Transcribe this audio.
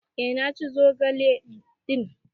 Eh na ci zogale din.